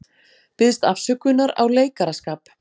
Biðst afsökunar á leikaraskap